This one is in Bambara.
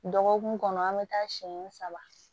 Dɔgɔkun kɔnɔ an bɛ taa siyɛn saba